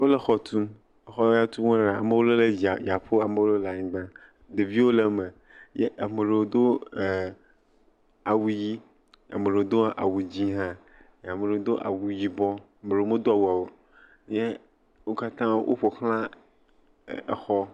Wo le xɔ tum. Xɔ ya tum wo lea, ame aɖewo le dzia dzia ƒo ame aɖewo le anyigba. Ɖeviwo le eme eye ame aɖewo do e awu ʋi ame aɖewo do awu dzi hã ame aɖewo do awu yibɔ, ame aɖewo medo awa o ye wokatã woƒoxla exɔ.